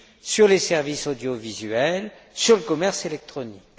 sur les services audiovisuels et sur le commerce électronique.